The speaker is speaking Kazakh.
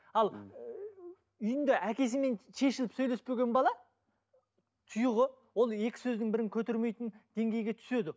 ал ыыы үйінде әкесімен шешіліп сөйлеспеген бала тұйығы ол екі сөздің бірін көтермейтін деңгейге түседі